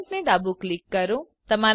parent ને ડાબું click કરો